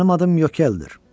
Mənim adım Yökəldir.